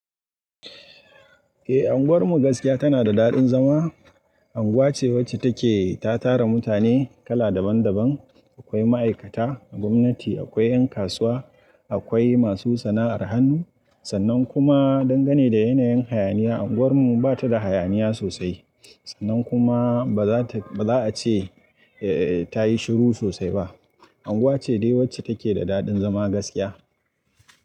Eh, unguwarmu gaskiya tana da daɗin zama. Anguwa ce wacce take ta tara mutane kala daban daban. Akwai ma'aikata a gwamnati, akwai yan kasuwa, akwai masu sana'ar hannu. Sannan kuma dangane da yanayin hayaniya, unguwarmu ba ta da hayaniya sosai. Sannan kuma ba za ta, ba za a ce,, ta yi shiru sosai ba. Anguwa ce dai wacce take da daɗin zama gaskiya.